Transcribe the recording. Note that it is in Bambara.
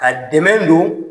Ka dɛmɛ don